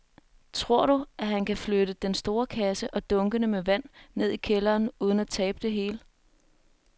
Tror du, at han kan flytte den store kasse og dunkene med vand ned i kælderen uden at tabe det hele?